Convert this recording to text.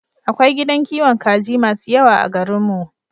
Akwai gidan kiwon kaji masu yawa a garin mu